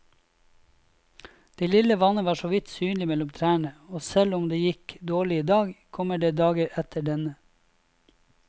Det lille vannet var såvidt synlig mellom trærne, og selv om det gikk dårlig i dag, kommer det dager etter denne.